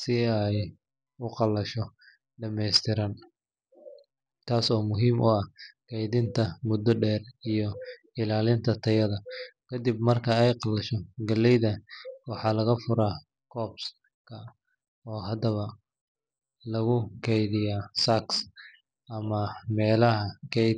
si ay u qalasho dhammaystiran, taas oo muhiim u ah keydinta muddo dheer iyo ilaalinta tayada. Ka dib marka ay qalasho, galleyda waxaa laga furaa cobs-ka, oo hadana lagu keydiyaa sacks ama meelaha kaydk.